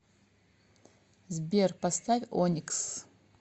сбер поставь оникс